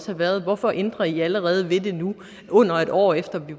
have været hvorfor ændrer i allerede ved det nu under et år efter at vi